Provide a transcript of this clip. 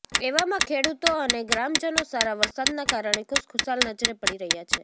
એવામાં ખેડૂતો અને ગ્રામજનો સારા વરસાદના કારણે ખુશખુશાલ નજરે પડી રહ્યા છે